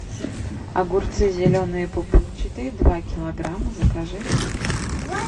огурцы зеленые пупырчатые два килограмма закажи